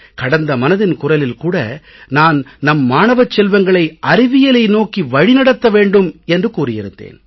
கடந்த மனதின் குரலில் கூட நான் நம் மாணவச் செல்வங்களை அறிவியலை நோக்கி வழிநடத்த வேண்டும் என்று கூறி இருந்தேன்